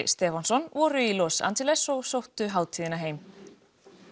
Stefánsson voru í Los Angeles og sóttu hátíðina heim